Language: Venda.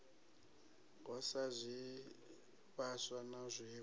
ho sa zwivhaswa na zwiwe